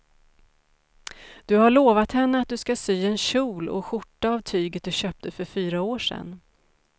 Du har lovat henne att du ska sy en kjol och skjorta av tyget du köpte för fyra år sedan.